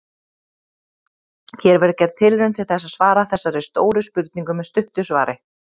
Hér verður gerð tilraun til þess að svara þessari stóru spurningu með stuttu svari.